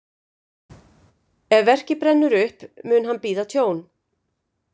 Ef verkið brennur upp, mun hann bíða tjón.